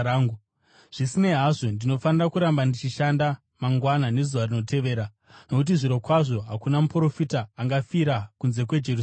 Zvisinei hazvo, ndinofanira kuramba ndichishanda mangwana nezuva rinotevera, nokuti zvirokwazvo hakuna muprofita angafira kunze kweJerusarema!